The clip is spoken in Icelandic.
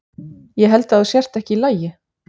Ég held að þú sért ekki í lagi.